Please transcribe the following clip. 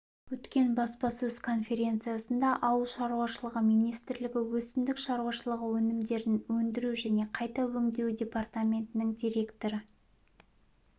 өткен баспасөз конференциясында ауыл шаруашылығы министрлігі өсімдік шаруашылығы өнімдерін өндіру және қайта өңдеу департаментінің директоры